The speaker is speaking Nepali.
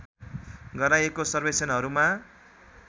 गराइएको सर्वेक्षणहरूमा